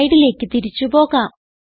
സ്ലൈഡിലേക്ക് തിരിച്ച് പോകാം